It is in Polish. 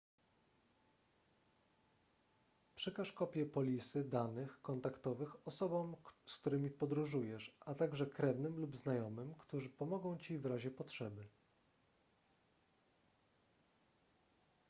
przekaż kopie polisy/danych kontaktowych osobom z którymi podróżujesz a także krewnym lub znajomym którzy pomogą ci w razie potrzeby